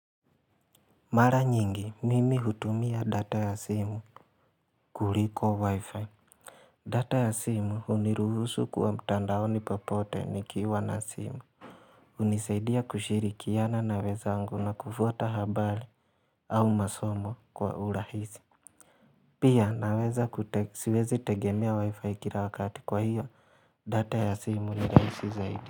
Mara nyingi mimi hutumia data ya simu kuliko wi-fi data ya simu uniruhusu kuwa mtandaoni popote nikiwa na simu unisaidia kushirikiana na wenzangu na kufuata habari au masomo kwa urahisi Pia naweza siwezi tegemea wi-fi kila wakati kwa hiyo data ya simu ni rahisi zaidi.